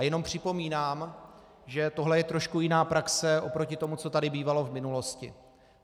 A jenom připomínám, že tohle je trošku jiná praxe oproti tomu, co tady bývalo v minulosti.